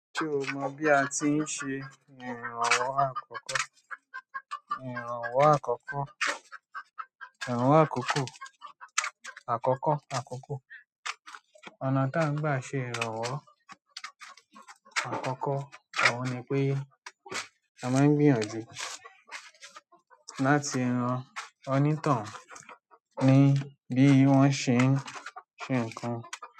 Ṣé o mọ bí a ti ń ṣe ìrànwọ́ àkọ́kọ́? Ìrànwọ́ àkọ́kọ́, ìrànwọ́ àkọ́kọ́, àkọ́kọ́ àkọ́kọ́. Ọ̀nà tí à ń gbà ṣe ìrànwọ́ àkọ́kọ́ òun ni pé a máa ń gbìyànjú láti ran onítohun ní bí wọ́n ṣe ń ṣe nǹkan.